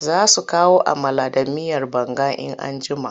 Za su kawo amala da miyar banga in an jima.